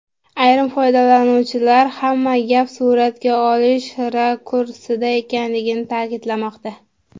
Ayrim foydalanuvchilar hamma gap suratga olish rakursida ekanligini ta’kidlamoqda.